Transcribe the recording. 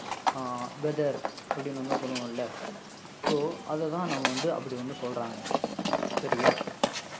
அஹ் weather அப்படின்னு வந்து சொல்லுவோம்ல so அததான் நம்ம வந்து அப்படி வந்து சொல்றாங்க. சரியா